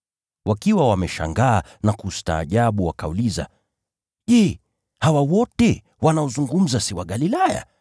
Wakiwa wameshangaa na kustaajabu wakauliza, “Je, hawa wote wanaozungumza si Wagalilaya?